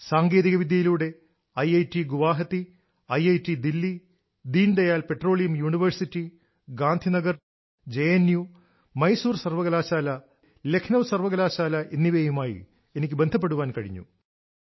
സാങ്കേതികവിദ്യയിലൂടെ ഐഐടിഗുവാഹത്തി ഐഐടിദില്ലി Deendayal petroleum university Gandhinagar JNU Mysore സർവകലാശാല ലക്നൌ സർവകലാശാല എന്നിവരുമായി എനിക്ക് ബന്ധപ്പെടാൻ കഴിഞ്ഞു